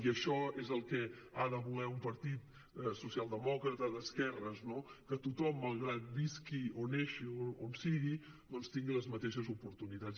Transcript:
i això és el que ha de voler un partit socialdemòcrata d’esquerres no que tothom malgrat que visqui o neixi on sigui doncs tingui les mateixes oportunitats